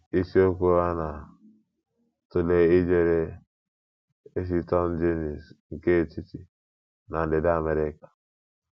Isiokwu a na - atụle ijere Eciton genus nke Etiti na Ndịda America.